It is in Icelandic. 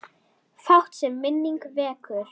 Fátt, sem minning vekur.